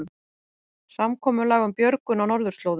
Samkomulag um björgun á norðurslóðum